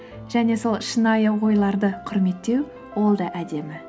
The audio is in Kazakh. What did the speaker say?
және сол шынайы ойларды құрметтеу ол да әдемі